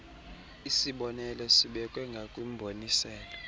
isibonelo sibekwe ngakwimboniselo